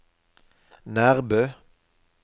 Nærbø